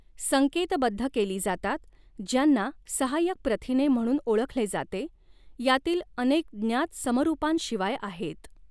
संकेतबद्ध केली जातात, ज्यांना सहाय्यक प्रथिने म्हणून ओळखले जाते, यातील अनेक ज्ञात समरूपांशिवाय आहेत.